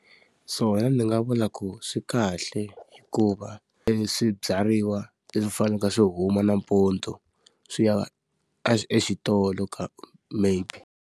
Swona ndzi nga vula ku swi kahle ku va eswibyariwa leswi faneleke swi huma nampundzu, swi ya exitolo ka maybe.